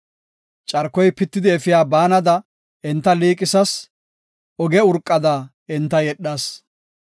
Carkoy pitidi efiya baanada enta liiqisas; oge urqada enta yedhas.